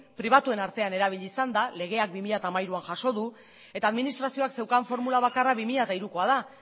pribatuen hartuan erabili izan da legeak bi mila hamairuan jaso du eta administrazioak zeukan formula bakarra bi mila hirukoa da